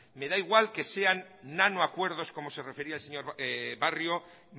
me da igual que sean nanoacuerdos como se refería el señor barrio